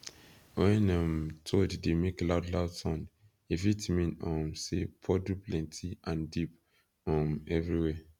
when um toad dey make loud loud sound e fit mean um say puddle plenty and deep um everywhere